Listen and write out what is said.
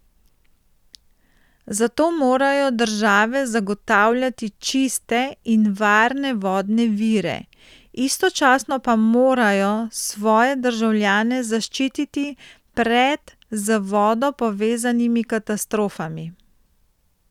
Zato morajo države zagotavljati čiste in varne vodne vire, istočasno pa morajo svoje državljane zaščititi pred z vodo povezanimi katastrofami.